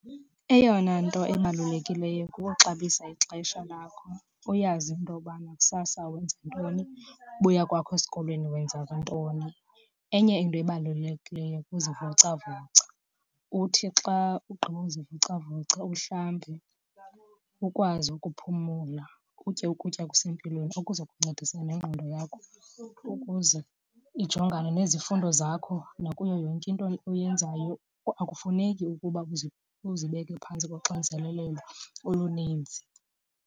Eyona nto ebalulekileyo kuxabisa ixesha lakho, uyazi into yobana kusasa wenza ntoni, ubuya kwakho esikolweni wenza ntoni. Enye into ebalulekileyo kuzivocavoca. Uthi xa ugqibozivocavoca uhlambe, ukwazi ukuphumula. Utye ukutya okusempilweni okuza kuncedisana nengqondo yakho ukuze ijongane nezifundo zakho nakuyo yonke into oyenzayo. Akufuneki ukuba kuze uzibeke phantsi koxinzelelelo oluninzi.